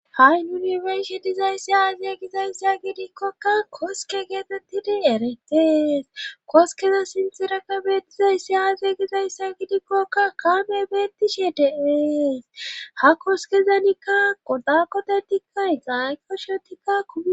ha7i unibershi dizayssi aazye gizayssa gidikkokka koske geetettidi eretees koskeza sintirakka beettizayssi aaze gizayssa gidikkokka kaame beettishe dees ha koskezanikka godakodedikka gayqoshotikka u